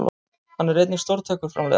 Hann er einnig stórtækur framleiðandi